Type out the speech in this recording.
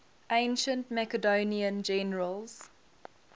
ancient macedonian generals